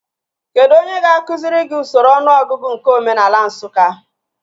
Kedụ onye ga-akụziri gị usoro ọnụọgụgụ nke omenaala Nsụka?